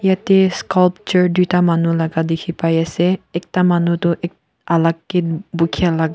yete sculpture tuta manu laka dikhipaiase ekta manu toh ek alak kae bukya laka.